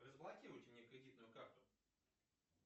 разблокируйте мне кредитную карту